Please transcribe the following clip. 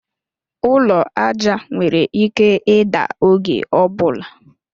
Ụlọ aja nwere ike ida oge ọbula